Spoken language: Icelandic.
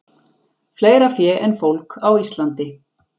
Fleira fé en fólk á Íslandi